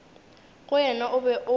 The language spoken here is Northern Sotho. go yena o be o